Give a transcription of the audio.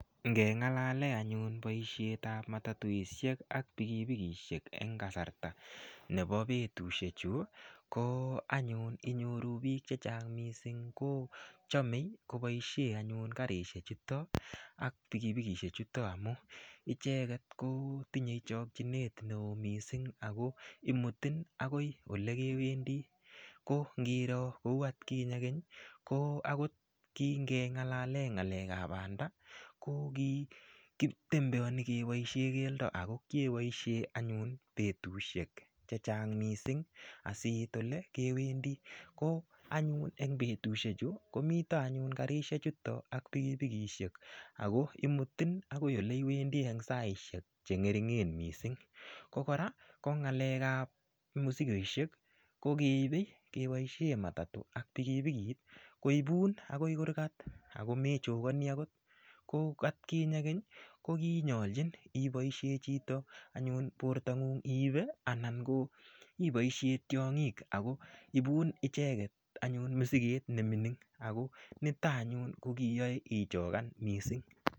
Ngengalale anyun boishet ap matatuishek ak pikipikishek eng kasarta nepo petushek chu ko anyun inyoru piik chechang mising kochomei koboishei anyun karishek chuto ak pikipikishek chuto amu icheket ko tinyei chokchinet neo mising ako imutin akoi ole kewendi ko ngiroo kou atkinye keny ko akot ki ngengalale ap panda ko kikitembeoni keboishe keldo ako keboishe anyun petushek chechang mising asiit olekewendi ko anyun eng petushek chu komitoanyun karishechuto ak pikipikishek akoimutin akoi ole iwendi eng saishek chengeringen mising ko kora ko ngalek ap mosikoishek ko keipei kepoishen matatu ak pikipikit koipun akoi kurkat akomechokoni akot ko atkinye keny kokinyolchin iboishe chito anyun portongung iipe anan ko iboishe tiong'ik ako ipun icheket anyun musiket nemining ako nito anyun ko ko kiyoe ichokan mising